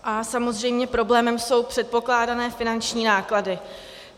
A samozřejmě problémem jsou předpokládané finanční náklady.